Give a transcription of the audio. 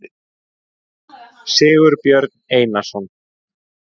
sigurbjörn einarsson